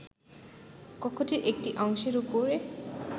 কক্ষটির একটি অংশের উপরে